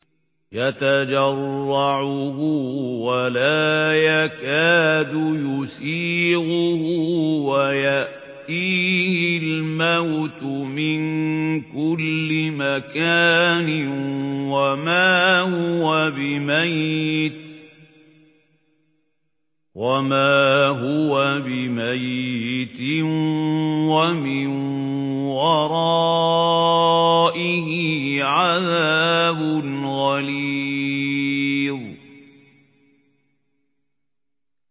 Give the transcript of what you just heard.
يَتَجَرَّعُهُ وَلَا يَكَادُ يُسِيغُهُ وَيَأْتِيهِ الْمَوْتُ مِن كُلِّ مَكَانٍ وَمَا هُوَ بِمَيِّتٍ ۖ وَمِن وَرَائِهِ عَذَابٌ غَلِيظٌ